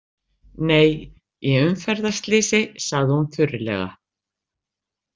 Nei, í umferðarslysi, sagði hún þurrlega.